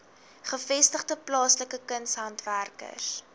gevestigde plaaslike kunshandwerkers